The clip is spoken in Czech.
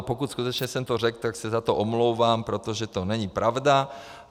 A pokud skutečně jsem to řekl, tak se za to omlouvám, protože to není pravda.